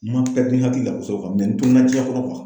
N man kila hakilila kosɛbɛ n tununa jiyɛn kɔnɔ.